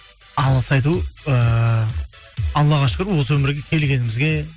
алғыс айту ыыы аллаға шүкір осы өмірге келгенімізге